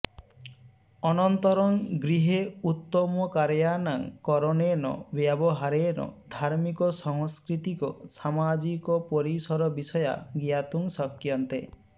अनन्तरं गृहे उत्तमकार्याणां करणेन व्यवहारेण धार्मिकसंस्कृतिक सामाजिक परिसरविषयाः ज्ञातुं शक्यन्ते